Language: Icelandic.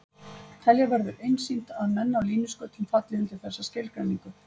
Telja verður einsýnt að menn á línuskautum falli undir þessa skilgreiningu.